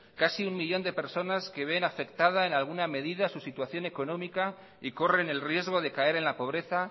casi un millón de personas que ven afectada en alguna medida su situación económica y corren el riesgo de caer en la pobreza